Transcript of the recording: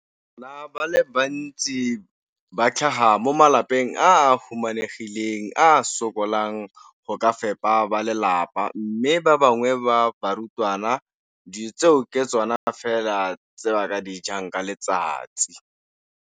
Bana ba le bantsi ba tlhaga mo malapeng a a humanegileng a a sokolang go ka fepa ba lelapa mme ba bangwe ba barutwana, dijo tseo ke tsona fela tse ba di jang ka letsatsi.